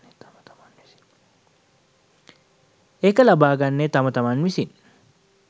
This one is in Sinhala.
ඒක ලබාගන්නේ තම තමන් විසින්